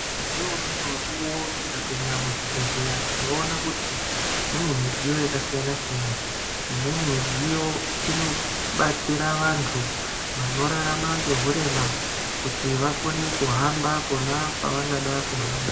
Ngeumweni mukuwo tikapinda muzvibhedhlera tinoona kuti mune midziyo yakasiyana-siyana. Imweni midziyo inobatsira vantu vanorarama ngeurema kuti vakone kuhamba pona pevangada kuhamba.